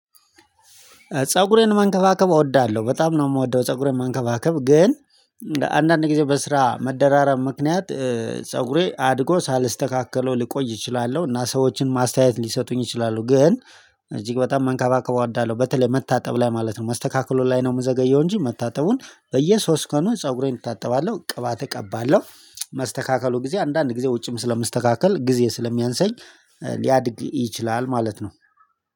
ፀጉሬን መንከባከብ እወዳለሁ በጣም ነው የምወደው ፀጉሬን መንከባከብ ግን አንዳንድ ጊዜ በስራ መደራረብ ምክንያት ፀጉሬ አድጎ ሳልስተካከለው ልቆይ እችላለሁ እና ሰዎችን ማስተያየት ሊሰጡኝ ይችላሉ። ግን እጅግ በጣም መንከባከብ እወዳለሁ በተለይ መታጠብ ላይ ማለት ነው መስተካከሉ ላይ ነው የምዘገየው። እንጂ መታጠቡን በየሶስት ቀኑ ፀጉሬን እታጠባለሁ ቅባት እቀባለሁ። መስተካከሉ ጊዜ አንዳንድ ጊዜ ውጭም ስለመስተካከል ጊዜ ስለሚያንሰኝ ሊያድግ ይችላል ማለት ነው።